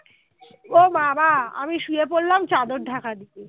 ও বাবা আমি শুয়ে পড়লাম চাদর ঢাকা দিয়ে